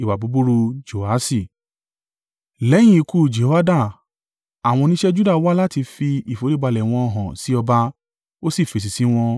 Lẹ́yìn ikú Jehoiada, àwọn oníṣẹ́ Juda wá láti fi ìforíbalẹ̀ wọn hàn sí ọba. Ó sì fèsì sí wọn.